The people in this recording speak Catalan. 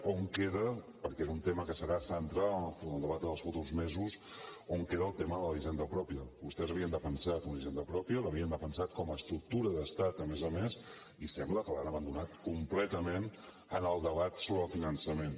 on queda perquè és un tema que serà central en el debat dels futurs mesos on queda el tema de la hisenda pròpia vostès havien defensat una hisenda pròpia l’havien defensat com a estructura d’estat a més a més i sembla que l’han abandonada completament en el debat sobre el finançament